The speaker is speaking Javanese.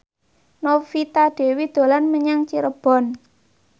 Novita Dewi dolan menyang Cirebon